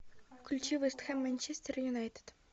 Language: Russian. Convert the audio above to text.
включи вест хэм манчестер юнайтед